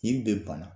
Nin bɛ bana